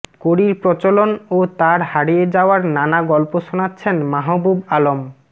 কড়ির প্রচলন ও তার হারিয়ে যাওয়ার নানা গল্প শোনাচ্ছেন মাহবুব আলম